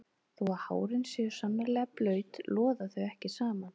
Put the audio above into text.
Þó að hárin séu sannarlega blaut loða þau ekki saman.